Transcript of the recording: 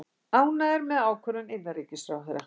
Ánægðir með ákvörðun innanríkisráðherra